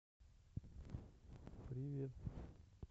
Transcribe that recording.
привет